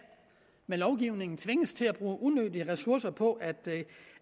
med lovgivningen tvinges til at bruge unødige ressourcer på